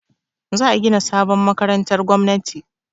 Za a gina sabon makarantar gwamnati.